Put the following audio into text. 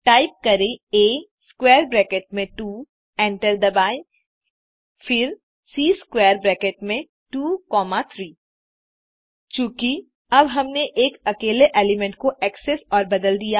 type करें आ square bracket में 2 एंटर दबाएँ फिर सी स्क्वैर ब्रैकेट में 2 कॉमा 3 चूँकि अब हमने एक अकेले एलिमेंट को एक्सेस और बदल दिया